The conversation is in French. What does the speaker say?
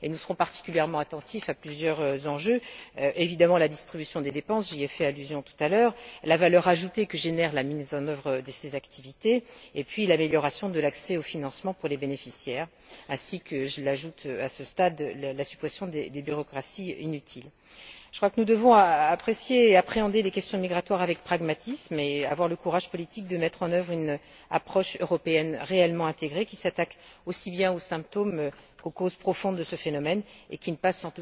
Nous serons particulièrement attentifs à plusieurs enjeux la sépartition des dépenses évidemment j'y ai fait allusion tout à l'heure la valeur ajoutée que génère la mise en œuvre de ces activités, l'amélioration de l'accès aux financements pour les bénéficiaires ainsi que, je l'ajoute à ce stade, la suppression de toute bureaucratie inutile. Je crois que nous devons apprécier et appréhender les questions migratoires avec pragmatisme et avoir le courage politique de mettre en œuvre une approche européenne réellement intégrée, s'attaquant aussi bien aux symptômes qu'aux causes profondes du phénomène et qui ne passe